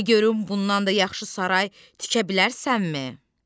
De görüm bundan da yaxşı saray tikə bilərsənmi?